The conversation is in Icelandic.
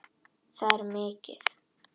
Það er mikið.